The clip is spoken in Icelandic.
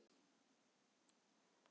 Þær litu svo upp til þín.